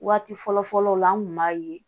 Waati fɔlɔ fɔlɔw la an tun b'a ye